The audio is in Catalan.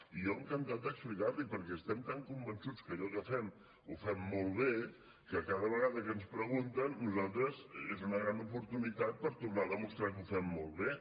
i jo encantat d’explicar l’hi perquè estem tan convençuts que allò que fem ho fem molt bé que cada vegada que ens pregunten per nosaltres és una gran oportunitat per tornar a demostrar que ho fem molt bé